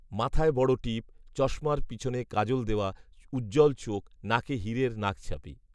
মাথায় বড় টিপ, চশমার পিছনে কাজল দেওয়া, উজ্জ্বল চোখ, নাকে হিরের নাকছাবি